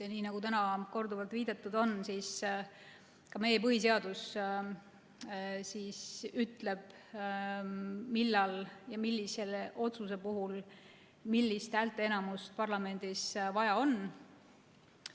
Ja nii nagu täna korduvalt viidatud on, ütleb ka meie põhiseadus, millal ja millise otsuse puhul millist häälteenamust parlamendis vaja on.